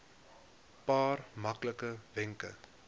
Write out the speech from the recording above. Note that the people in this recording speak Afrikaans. paar maklike wenke